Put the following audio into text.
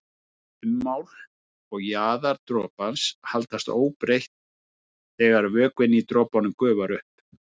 Ummál og jaðar dropans haldast óbreytt þegar vökvinn í dropanum gufar upp.